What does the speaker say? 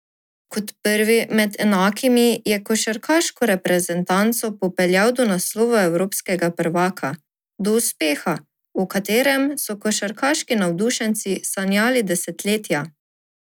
Kot prvi med enakimi je košarkarsko reprezentanco popeljal do naslova evropskega prvaka, do uspeha, o katerem so košarkarski navdušenci sanjali desetletja.